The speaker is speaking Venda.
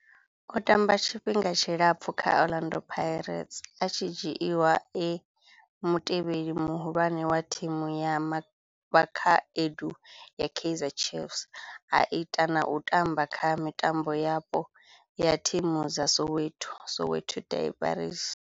O tamba tshifhinga tshilapfhu kha Orlando Pirates, a tshi dzhiiwa e mutevheli muhulwane wa thimu ya vhakhaedu ya Kaizer Chiefs, a ita na u tamba kha mitambo yapo ya thimu dza Soweto, Soweto derbies.